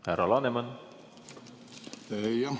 Härra Laneman!